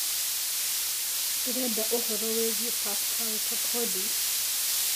Ndĩreda ũhoro wĩigie Pascal Tokodi